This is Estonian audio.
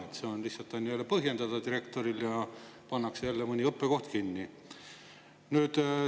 Siis on lihtsalt põhjendada direktoril ja pannakse jälle mõni õppekoht kinni.